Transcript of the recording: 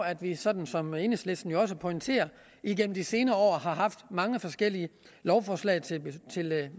at vi sådan som enhedslisten jo også pointerer igennem de senere år har haft mange forskellige lovforslag til